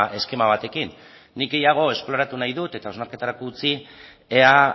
eskema batekin nik gehiago esploratu nahi dut eta hausnarketarako utzi ea